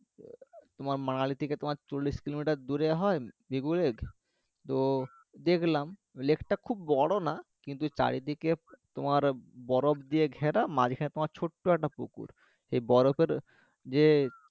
তোমার মানালি থেকে চল্লিশ কিলোমিটার দূরে হয় ভিগু lake তো দেখলাম lake টা খুব বড়ো না কিন্তু চারিদিকে তোমার বরফ দিয়ে ঘেরা মাঝখানে তোমার ছোট্ট একটা পুকুর এই বরফের যে